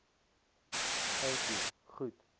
thank you goed